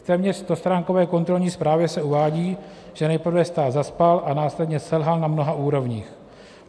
V téměř stostránkové kontrolní zprávě se uvádí, že nejprve stát zaspal a následně selhal na mnoha úrovních.